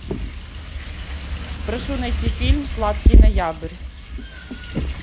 прошу найти фильм сладкий ноябрь